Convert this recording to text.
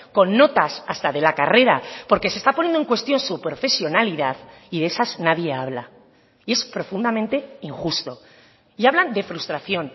con notas hasta de la carrera porque se está poniendo en cuestión su profesionalidad y de esas nadie habla y es profundamente injusto y hablan de frustración